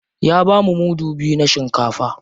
Ya bamu mudu biyu na shinkafa.